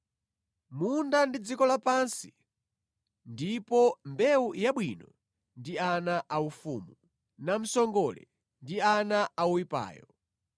Munda ndi dziko lapansi ndipo mbewu yabwino ndi ana a ufumu. Namsongole ndi ana a woyipayo.